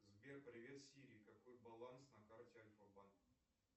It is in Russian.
сбер привет сири какой баланс на карте альфа банка